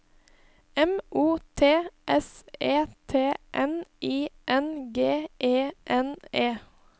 M O T S E T N I N G E N E